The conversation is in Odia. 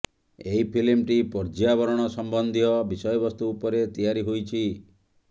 ଏହି ଫିଲ୍ମଟି ପର୍ଯ୍ୟାବରଣ ସମ୍ବନ୍ଧୀୟ ବିଷୟବସ୍ତୁ ଉପରେ ତିଆରି ହୋଇଛି